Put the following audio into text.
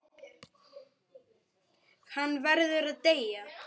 Hann verður að deyja.